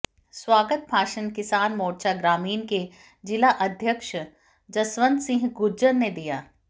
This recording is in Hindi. स्वागत भाषण किसान मोर्चा ग्रामीण के जिलाध्यक्ष जसवंत सिंह गुर्जर ने दिया